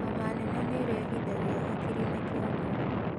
Homa nene nirehithagia hakiri na kĩongo